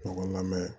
Ɲɔgɔn lamɛn